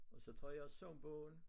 Og så tager jeg sangbogen